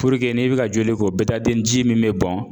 n'i be ka joli ko ji min be bɔn